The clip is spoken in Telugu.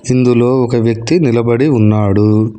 ఇందులో ఒక వ్యక్తి నిలబడి ఉన్నాడు.